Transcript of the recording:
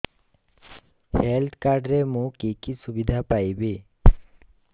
health card ରେ ମୁଁ କି କି ସୁବିଧା ପାଇବି